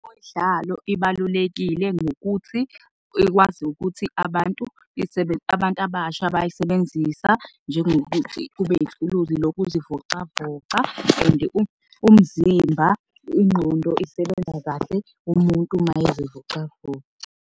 Ibalulekile ngokuthi ikwazi ukuthi abantu abasha bayisebenzisa njengokuthi kube yithuluzi lokuzivocavoca. And umzimba, ingqondo isebenza kahle umuntu mayezivocavoca.